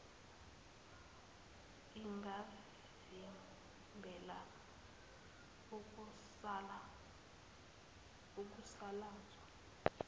ingavimbela ukusaka zwa